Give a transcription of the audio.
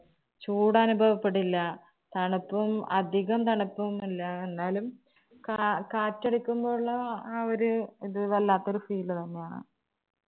ചൂട് അനുഭവപ്പെടില്ല. തണുപ്പും അധികം തണുപ്പൊന്നും ഇല്ല, എന്നാലും ക~കാറ്റ് അടിക്കുമ്പോൾ ഉള്ള ആ ഒരു ഇത് വല്ലാത്ത ഒരു feel തന്നെ ആണ്.